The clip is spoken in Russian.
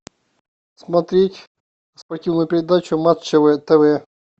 смотреть спортивную передачу матч тв